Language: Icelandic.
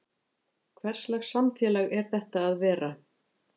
Hverslags samfélag er þetta að vera?